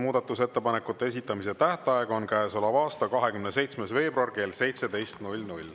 Muudatusettepanekute esitamise tähtaeg on käesoleva aasta 27. veebruar kell 17.